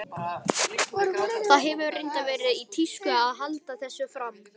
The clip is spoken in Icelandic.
Það hefur reyndar verið í tísku að halda þessu fram.